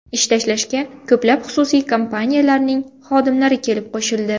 Ish tashlashga ko‘plab xususiy kompaniyalarning xodimlari kelib qo‘shildi.